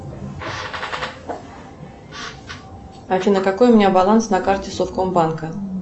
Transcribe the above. афина какой у меня баланс на карте совкомбанка